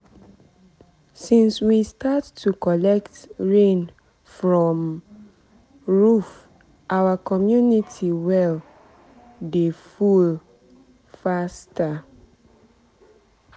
since we start to collect rain from um roof our community well um dey full um faster.